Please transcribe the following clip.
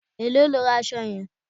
Èló lo ra aṣọ yẹn?